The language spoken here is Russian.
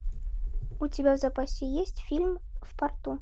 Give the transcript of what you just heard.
у тебя в запасе есть фильм в порту